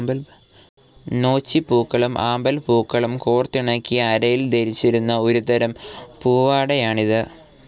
നൊച്ചിപ്പൂക്കളും ആമ്പൽ പൂക്കളും കോർത്തിണക്കി അരയിൽ ധരിച്ചിരുന്ന ഒരു തരം പൂവാടയാണിത്.